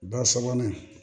Ba sabanan